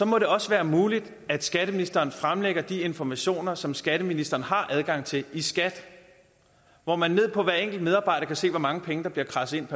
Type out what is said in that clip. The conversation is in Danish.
må det også være muligt at skatteministeren fremlægger de informationer som skatteministeren har adgang til i skat hvor man for hver enkelt medarbejder kan se hvor mange penge der bliver kradset